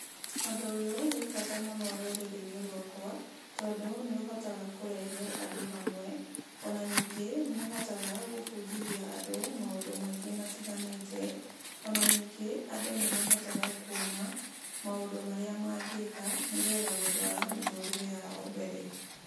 Ũndũ ũyũ wĩ bata mũno rũrĩrĩ-inĩ rwakwa, tondũ nĩ ũhotaga kũrehe andũ hamwe. Ona ningĩ nĩ ũhotaga gũbundithia andũ maũndũ maingĩ matiganĩte. Ona ningĩ, andũ nĩmahotaga kuona maũndũ marĩa mangĩka, nĩgetha gũtwara mĩtũrĩre yao mbere.